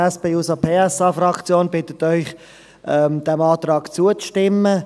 Die SP-JUSO-PSA-Fraktion bittet Sie, diesem Antrag zuzustimmen.